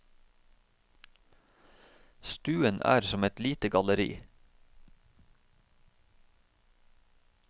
Stuen er som et lite galleri.